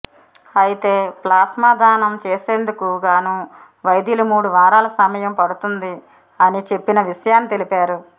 అయితే ప్లాస్మా దానం చేసేందుకు గానూ వైద్యులు మూడు వారాల సమయం పడుతుంది అని చెప్పిన విషయాన్ని తెలిపారు